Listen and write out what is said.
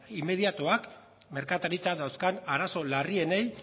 inmediatoak merkataritzak dauzkan arazo larrienei